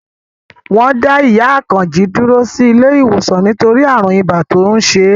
Wọ́n dá ìyá Àkànjí dúró sí ilé ìwòsàn nítorí ààrùn ibà tó ń ṣe é